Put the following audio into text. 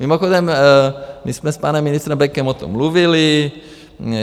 Mimochodem my jsme s panem ministrem Bekem o tom mluvili.